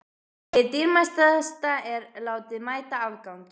Hið dýrmætasta er látið mæta afgangi.